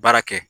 Baara kɛ